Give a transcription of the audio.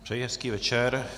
Přeji hezký večer.